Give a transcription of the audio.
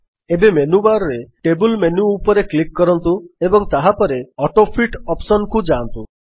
ଏବେ ମେନ୍ୟୁବାର୍ ରେ table menu ଉପରେ କ୍ଲିକ୍ କରନ୍ତୁ ଏବଂ ତାହାପରେ ଅଟୋଫିଟ୍ ଅପ୍ସନ୍ କୁ ଯାଆନ୍ତୁ